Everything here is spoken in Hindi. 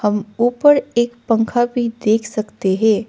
ऊपर एक पंखा भी देख सकते हैं।